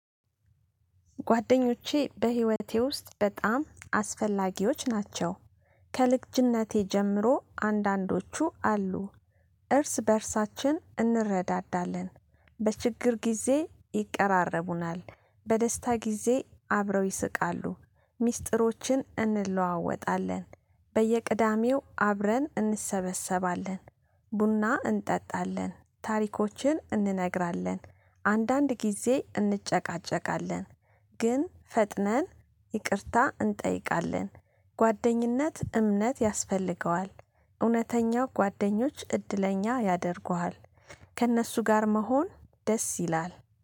ጓደኞቼ በህይወቴ ውስጥ በጣም አስፈላጊዎች ናቸው። ከልጅነቴ ጀምሮ አንዳንዶቹ አሉ። እርስ በእርሳችን እንረዳዳለን። በችግር ጊዜ ይቀራረቡናል። በደስታ ጊዜ አብረው ይስቃሉ። ሚስጥሮችን እንለዋወጣለን። በየቅዳሜው አብረን እንሰበሰባለን። ቡና እንጠጣለን ታሪኮችን እንነግራለን አንዳንድ ጊዜ እንጨቃጨቃለን። ግን ፈጥነን ይቅርታ እንጠይቃለን። ጓደኝነት እምነት ያስፈልገዋል። እውነተኛው ጓደኞች እድለኛ ያደርጉሃል። ከእነሱ ጋር መሆን ደስ ይላል